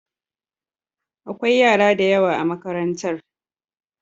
Akwai yara da yawa a makarantar.